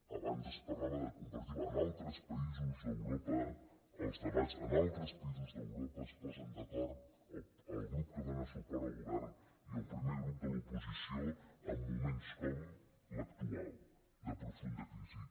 abans es parlava de compartir en altres països d’europa els debats en altres països d’europa es posen d’acord el grup que dóna suport al govern i el primer grup de l’oposició en moments com l’actual de profunda crisi